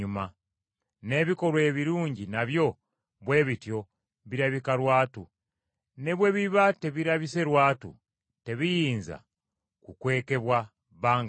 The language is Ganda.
N’ebikolwa ebirungi nabyo bwe bityo birabika lwatu; ne bwe biba tebirabise lwatu, tebiyinza kukwekebwa bbanga lyonna.